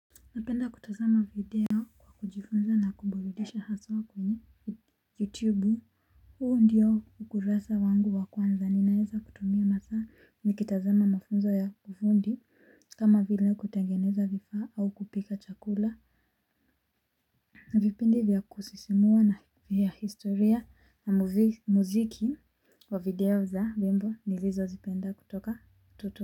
Napenda kutazama video kwa kujifunza na kuburudisha haswa kwenye youtube. Huu ndiyo ukurasa wangu wa kwanza ninaeza kutumia masaa nikitazama mafunzo ya kifundi. Kama vile kutengeneza vifaa au kupika chakula vipindi vya kusisimua na vya historia na muziki wa video za nyimbo nilizozipenda kutoka utotoni.